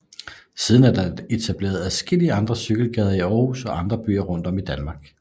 Siden er der etableret adskillige andre cykelgader i Aarhus og i andre byer rundt om i Danmark